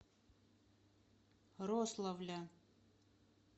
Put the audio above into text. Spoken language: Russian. рославля